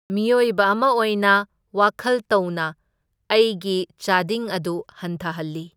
ꯃꯤꯑꯣꯏꯕ ꯑꯃ ꯑꯣꯏꯅ ꯋꯥꯈꯜ ꯇꯧꯅ ꯑꯩꯒꯤ ꯆꯥꯗꯤꯡ ꯑꯗꯨ ꯍꯟꯊꯍꯜꯂꯤ꯫